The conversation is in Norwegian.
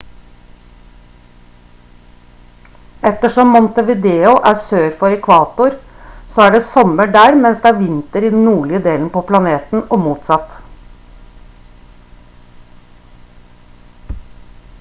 ettersom montevideo er sør for ekvator så er det sommer der mens det er vinter i den nordlige delen på planeten og motsatt